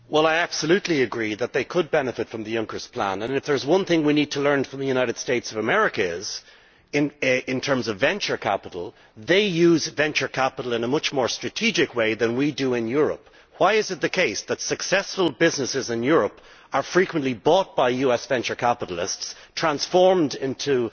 I absolutely agree that they could benefit from Juncker's plan and, if there is one thing we need to learn from the United States of America in terms of venture capital, it is that they use venture capital in a much more strategic way than we do in Europe. Why is it the case that successful businesses in Europe are frequently bought by US venture capitalists and transformed into